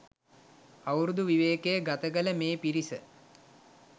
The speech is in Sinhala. අවුරුදු විවේකය ගතකළ මේ පිරිස